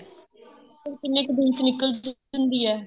ਉਹ ਕਿੰਨੇ ਕ ਦਿਨ ਚ ਨਿੱਕਲ ਜਾਂਦੀ ਹੈ